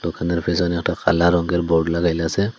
আয়নার পিছনে একটা কালা রংয়ের বোর্ড ।